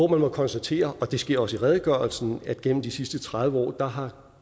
må man konstatere og det sker også i redegørelsen at globaliseringen gennem de sidste tredive år har